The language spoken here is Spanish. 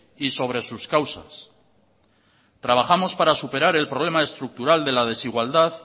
y sobre sus causas trabajamos para superar el problema estructural de la desigualdad